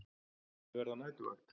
Ég verð á næturvakt.